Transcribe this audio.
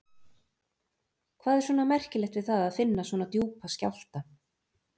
Hvað er svona merkilegt við það að finna svona djúpa skjálfta?